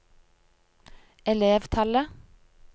elevtallet